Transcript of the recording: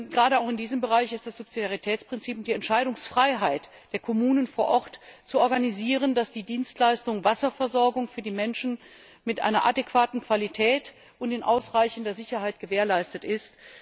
Gerade auch in diesem Bereich ist das Subsidiaritätsprinzip, die Entscheidungsfreiheit der Kommunen vor Ort, zu organisieren, damit die Dienstleistung Wasserversorgung für die Menschen mit einer adäquaten Qualität und in ausreichender Sicherheit gewährleistet ist.